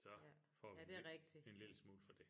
Så får vi en en lille smule for det